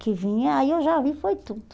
Que vinha, aí eu já vi, foi tudo.